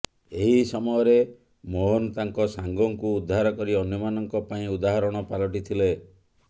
ଏହି ସମୟରେ ମୋହନ ତାଙ୍କ ସାଙ୍ଗଙ୍କୁ ଉଦ୍ଧାର କରି ଅନ୍ୟମାନଙ୍କ ପାଇଁ ଉଦାହରଣ ପାଲଟି ଥିଲେ